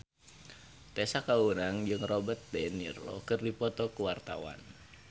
Tessa Kaunang jeung Robert de Niro keur dipoto ku wartawan